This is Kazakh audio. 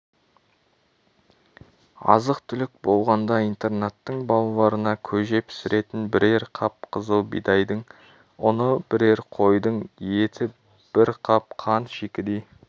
азық-түлік болғанда интернаттың балаларына көже пісіретін бірер қап қызыл бидайдың ұны бірер қойдың еті бір қап қант шикідей